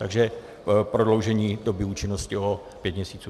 Takže prodloužení doby účinnosti o pět měsíců.